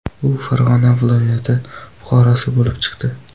U Farg‘ona viloyati fuqarosi bo‘lib chiqdi.